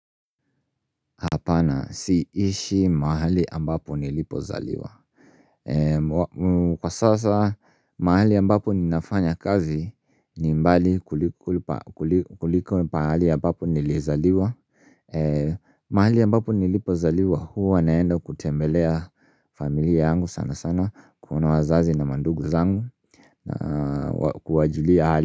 Siishi mahali ambapo nilipozaliwa. Kwa sasa mahali ambapo ninafanya kazi ni mbali kuliko pahali ambapo nilizaliwa mahali ambapo nilipozaliwa huwa naenda kutembelea familia yangu sana sana. Kuna wazazi na mandugu zangu na kuwajulia hali.